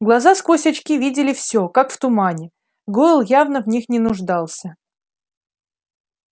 глаза сквозь очки видели всё как в тумане гойл явно в них не нуждался